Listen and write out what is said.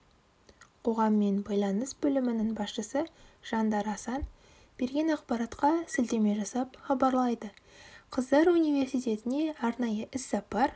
қоғаммен байланыс бөлімінің басшысы жандар асан берген ақпаратқа сілтеме жасап хабарлайды қыздар университетіне арнайы іс-сапар